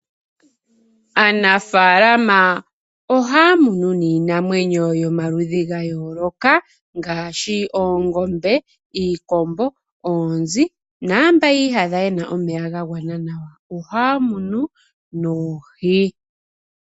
Aanafalama ohaya munu niinamwenyo yomaludhi ga yooloka ngaashi oongombe, iikombo, oonzi naampa yi iyadha yena omeya gagwana nawa ohaya munu noohi.